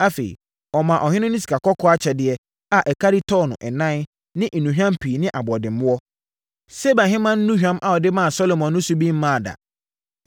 Afei, ɔmaa ɔhene no sikakɔkɔɔ akyɛdeɛ a ɛkari tɔno 4 ne nnuhwam pii ne aboɔdemmoɔ. Seba Ɔhemmaa nnuhwam a ɔde maa Salomo no so bi mmaa da.